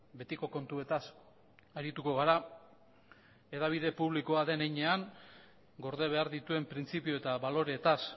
betiko kontuetaz arituko gara hedabide publikoa den heinean gorde behar dituen printzipio eta baloreetaz